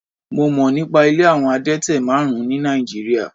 Mo mọ̀ nípa ilé àwọn adẹ́tẹ̀ márùn-ún ní Nàìjíríà.